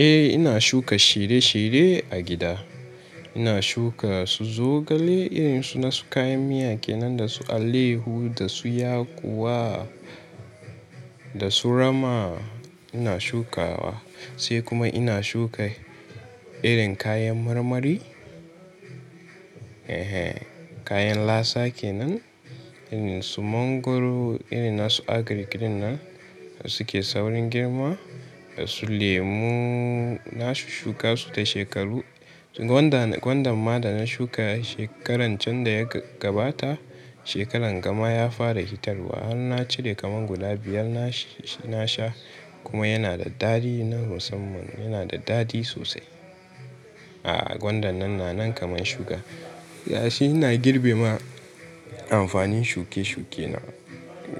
Eh ina shuka shirye shirye a gida. Ina shuka su zogale irin su nasu kayan miya kenan da su alayyahu da su yakuwa da su rama ina shukawa. Sai kuma ina shuka irin kayan marmari, eh he, kayan lasa kenan irin su mangwaro irin nasu agrik din nan suke saurin girma, da su lemu na shushshuka su da shekaru. Gwanda gwanda ma da na shuka shekaran can da ya gabata, shekaran gama ya fara hitarwa har na cire kamar guda biyar na sha kuma yana da dadi na musamman yana da dadi sosai. A'a gwandan nan na nan kaman shuka. Yace ina girbe ma amfanin shuke shuke na.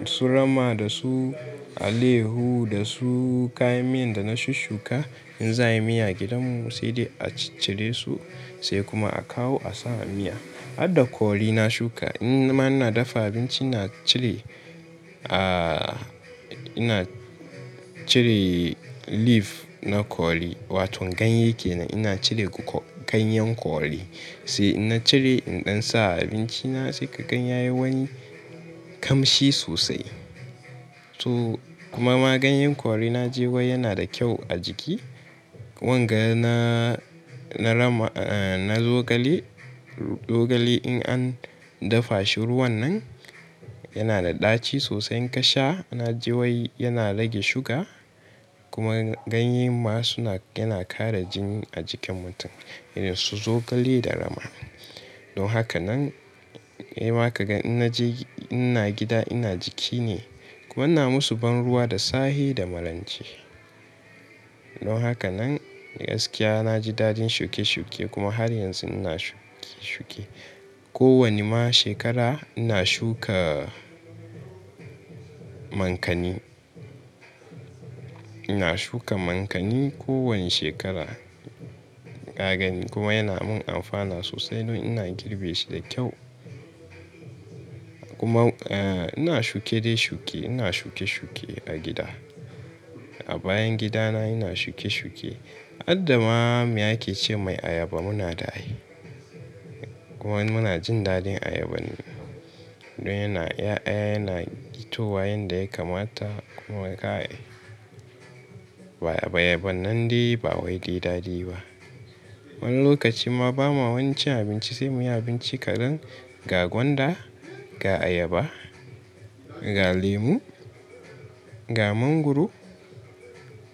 Su rama da su alayyahu da su kayan miyan da na shushshuka in zaayi miya gidan mu sai dai a cire su sai kuma a kawo a sawa miya. Harda kori na shuka in ma ina dafa abinci na cire, ah, ina cire leaf na kori wato ganye kenan ina cire ganyan kori sai in na cire idan sa a abinci na sai kagan yayi wani kamshi sosai. To kuma ma ganyan kori na ji wai yana da kyau a jiki. Wanga na na rama, eh na zogale, zogale in an dafa shi ruwan nan yana da ɗaci sosai in ka sha na ji wai yana rage suga kuma ganye ma suna yana kara jini a jikin mutum irin su zogale da rama. Don haka nan, sai ma kaga inna je ina gida ina jiki ne kuma na musu ban ruwa da sahi da marance. Don haka nan gaskiya na ji dadin shuke shuke kuma har yanzu ina shuke shuke. Ko wani ma shekara ina shuka mankani. Ina shuka mankani ko wani shekara. Ka gani kuma yana mun amfani sosai don ina girbe shi da kyau. Kuma, eh ina shuke dai shuke ina shuke shuke a gida. A bayan gida na ina shuke shuke. Hadda ma mai ake ce mai ayaba muna da ai. Ko wani muna jin dadin ayaban. Don yana ya'ya yana fitowa yanda ya kamata kuma ka yi. Ba ayaban nan dai ba wai dai dadi ba. Wani lokaci ma ba ma wani cin abinci sai muyi abinci kaɗan ga gwanda, ga ayaba, ga lemu, ga mangwaro,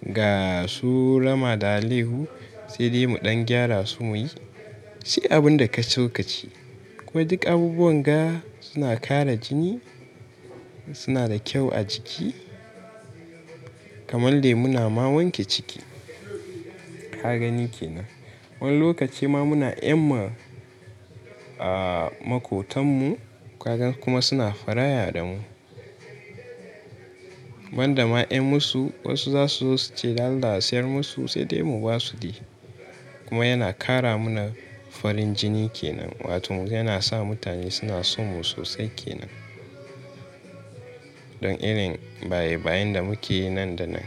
ga su rama da alehu sai dai mu ɗan gyara su muyi. Dik abun da ka so ka ci. Kuma duk abubuwan ga suna kara jini suna da kyau a jiki kamar lemu na ma wanke ciki. Ka gani kenan. Wani lokaci ma muna deba ma, makotan mu ka gan kuma suna fara'a da mu. Wanda ma in musu wasu za su zo suce dan allah a siyar musu sai dai mu ba su dai. Kuma yana kara mu na farin jini kenan wato yana sa mutane suna son mu sosai kenan. Don irin baye bayen da muke nan da nan.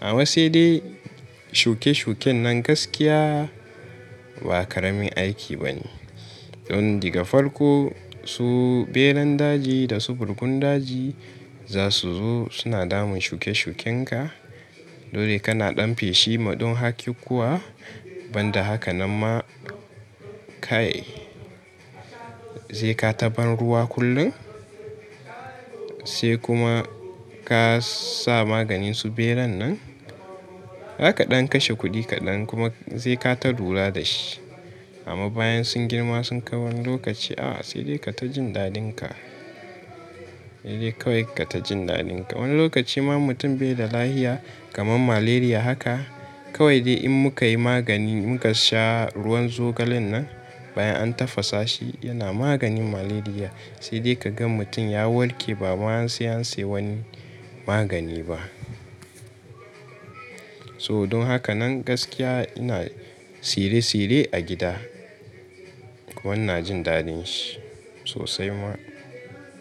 Amma sai dai shuke shuken nan gaskiya ba ƙaramin aiki ba ne. Don daga farko su beran daji da su farkon daji za su zo suna damun shuke shuken ka. Dole kana ɗan feshi ma don haki kuwa banda haka nan ma ka yi. Zai ka ta ban ruwa kullum sai kuma ka sa maganin su beran nan. Zaka ɗan kashe kuɗi kaɗan kuma zai ka ta lura da shi. Amma bayan sun girma sun kai wani lokaci a'a sai dai ka ta jin dadin ka. Sai dai kawai ka ta jin dadin ka. Wani lokaci ma mutum bai da lafiya kamar malaria haka kawai dai in muka yi magani muka sha ruwan zogalen nan bayan an tafasa shi yana maganin malaria sai dai kaga mutum ya warke ba ma sai an sayi wani magani ba. So don haka nan gaskiya ina tsire tsire a gida kuma na jin dadin shi sosai ma.